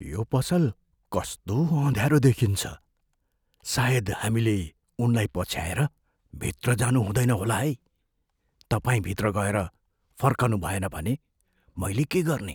यो पसल कस्तो अँध्यारो देखिन्छ। सायद हामीले उनलाई पछ्याएर भित्र जानु हुँदैन होला है। तपाईँ भित्र गएर फर्कुनभएन भने मैले के गर्ने?